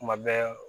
Kuma bɛɛ